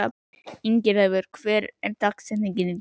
Ingileifur, hver er dagsetningin í dag?